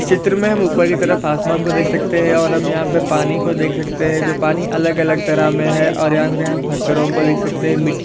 इस चित्र मे हम ऊपर की तरफ़ आसमान को देख सकते है और हम यहाँ पे पानी को देख सकते है जो पानी अलग-अलग तरह मे है और यहाँ पे हम पत्थरों को देख सकते है मिट्ठी--